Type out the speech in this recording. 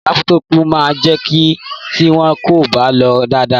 Lápútọpù máa bàjẹ́ tí wọn kò bá lò ó dáadáa.